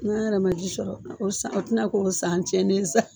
N'an yɛrɛ ma ji sɔrɔ o san o ti na k'o san cɛnnen ye sa